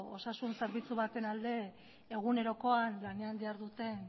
osasun zerbitzu baten alde egunerokoan lanean diharduten